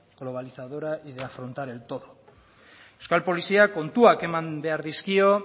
globalizadora y de afrontar el todo euskal poliziak kontuak eman behar dizkio